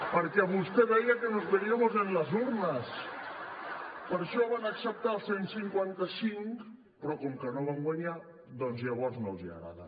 perquè vostè deia que nos veríamos en las urnas per això van acceptar el cent i cinquanta cinc però com que no van guanyar doncs llavors no els agrada